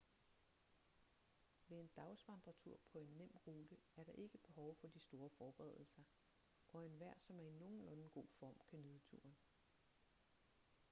ved en dagsvandretur på en nem rute er der ikke behov for de store forberedelser og enhver som er i nogenlunde god form kan nyde turen